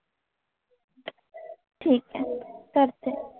ठीक आहे करते.